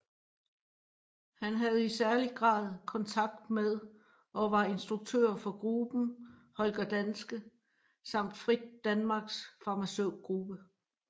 Han havde i særlig grad kontakt med og var instruktør for gruppen Holger Danske samt Frit Danmarks Farmaceutgruppe